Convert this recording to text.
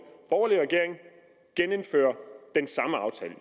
borgerlig regering genindføre den samme aftale